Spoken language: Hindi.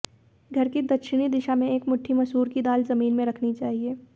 घर की दक्षिणी दिशा में एक मुट्ठी मसूर की दाल जमीन में रखनी चाहिए